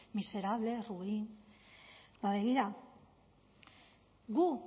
miserable ruin ba begira gu